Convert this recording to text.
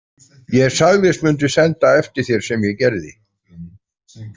Ég sagðist mundu senda eftir þér, sem ég gerði.